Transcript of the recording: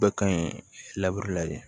Bɛɛ ka ɲi la de